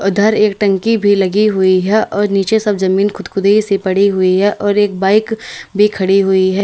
उधर एक टंकी भी लगी हुई है और नीचे सब जमीन खुदखुदी सी पड़ी हुई है और एक बाइक भी खड़ी हुई है।